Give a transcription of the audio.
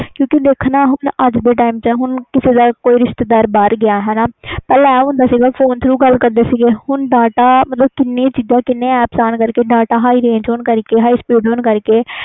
ਕਿਉਕਿ ਕਿ ਅਜ ਦਾ ਕਿਸੇ ਦਾ ਰਿਸਤੇਦਾਰ ਬਹਾਰ ਗਿਆ ਪਹਿਲੇ ਫੋਨ ਤੇ ਗੱਲ ਕਰਦੇ ਸੀ ਹੁਣ data ਕੀਨੇ aap ਆਣ ਕਰਕੇ ਕੀਨੀਆ ਚੀਜ਼ਾਂ high range high speed